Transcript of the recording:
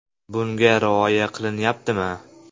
Bunga rioya qilinyaptimi?